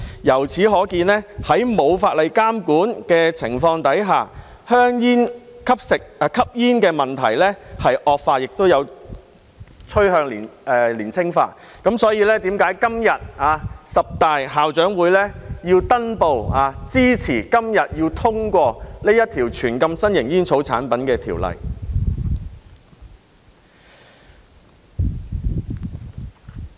由此可見，在沒有法例監管的情況下，吸煙的問題惡化，並趨向年青化，這正是為何十大校長會登報支持今天通過這項全面禁止新型煙草產品的《條例草案》。